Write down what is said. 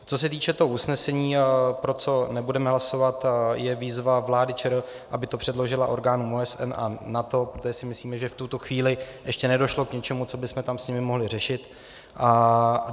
Co se týče toho usnesení, pro co nebudeme hlasovat, je výzva vládě ČR, aby to předložila orgánům OSN a NATO, protože si myslíme, že v tuto chvíli ještě nedošlo k ničemu, co bychom tam s nimi mohli řešit.